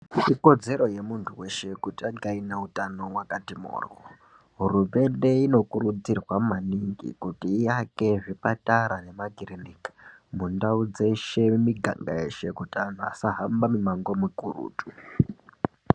Ikodzero yemuntu weshe kuti ange aine hutano hwakati mhoryo. Hurumende inokurudzirwa maningi kuti iake zvipatara nemakirinka mundau dzeshe miganga yeshe kuti anhu asahamba mimango mikurutu.